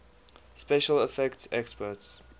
special effects experts